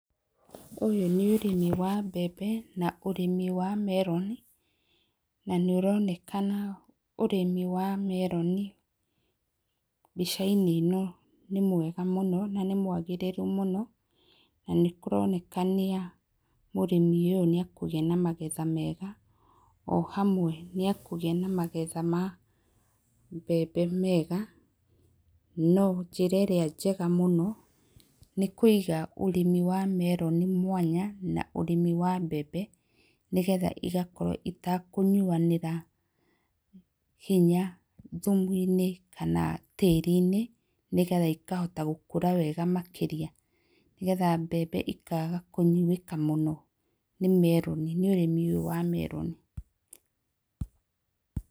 Ũyũ nĩ ũrĩmi wa mbembe na ũrĩmi wa meroni, na nĩ ũronekana ũrĩmi wa meroni mbica-inĩ ĩno nĩ mwega mũno na nĩ mwagĩrĩru mũno na nĩ kũronekana mũrĩmi ũyũ nĩ akũgĩa na magetha mega o hamwe nĩ akũgĩa na magetha ma mbembe, no njĩra ĩrĩa njega mũno nĩ kũiga ũrĩmi wa meroni mwanya na mbembe nĩgetha igakorwo itekũnyuanĩra hinya thumu-inĩ kana tĩri-inĩ nĩgetha ikahota gũkũra wega makĩria, nĩgetha mbembe ikaga kũnyuĩka mũno nĩ meroni nĩ ũrĩmi ũyũ wa meroni.